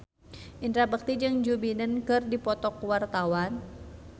Indra Bekti jeung Joe Biden keur dipoto ku wartawan